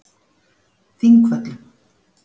Þingvöllum